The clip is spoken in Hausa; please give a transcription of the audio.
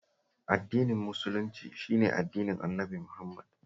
Addinin Musulunci shi ne addinin Annabi Muhammad